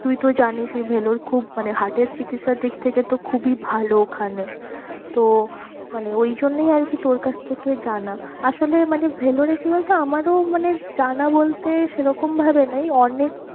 তুই তো জানিসই Vellore খুব মানে heart এর চিকিৎসার দিক থেকে তো খুবই ভালো ওখানে তো মানে ওই জন্যই আর কি তোর কাছ থেকে জানা আসলে মানে Vellore এ কি বলতো আমারও মানে জানা বলতে সেরকম ভাবে নেই অনেক